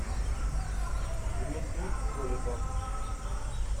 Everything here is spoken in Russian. дмитрий голиков